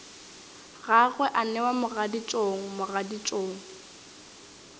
gagwe a newa mogaditšong mogaditšong